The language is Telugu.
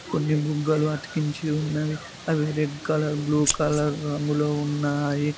కొన్ని బుగ్గలు అతికించి ఉన్నవి అవి రెడ్ కలర్ బ్లూ కలర్ రంగులో ఉన్నాయి.